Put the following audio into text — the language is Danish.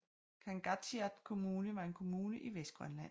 Kangaatsiaq Kommune var en kommune i Vestgrønland